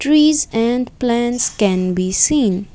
trees and plants can be seen.